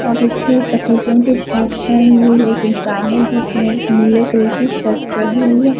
और उसने सफ़ेद रंग की शर्ट पहनी हुई एक इंसान है जिसने नीले कलर की शर्ट पहनी हुई है।